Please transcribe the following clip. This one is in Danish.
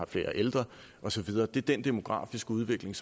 flere ældre og så videre det er den demografiske udvikling